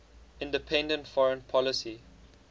independent foreign policy